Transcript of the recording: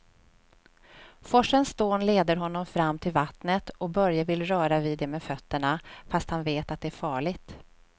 Forsens dån leder honom fram till vattnet och Börje vill röra vid det med fötterna, fast han vet att det är farligt.